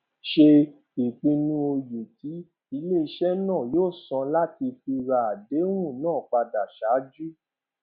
se ìpinu oye tí iléise náà yóó san láti fi ra àdéhùn náà padà sáájú